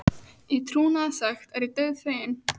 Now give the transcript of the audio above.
Í trúnaði sagt er ég dauðfeginn.